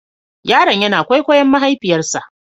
Yaron yana kwaikwayon mahaifiyarsa.